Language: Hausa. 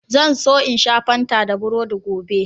Zan so in sha Fanta da burodi gobe.